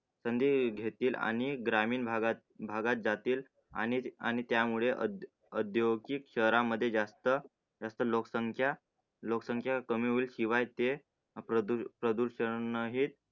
कधी घेतील आणि ग्रामीण भागात जातील आणि आणि त्यामुळे औद्योगिक शहरांमध्ये जास्त जास्त लोकसंख्या लोकसंख्या कमी होईल. शिवाय ते प्रदूषण ही